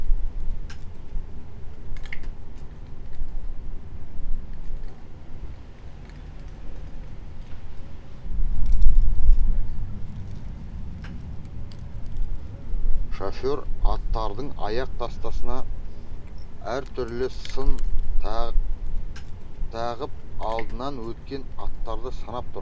шофер аттардың аяқ тастасына әр түрлі сын тағып алдынан өткен аттарды санап тұр